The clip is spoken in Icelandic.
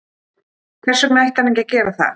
Hvers vegna ætti hann ekki að gera það?